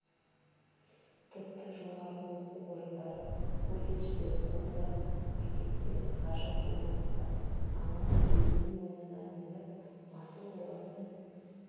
тіпті жоғары оқу орындары колледждер қолдап әкетсе ғажап болмас па аман біреудің мойнына мініп масыл болатын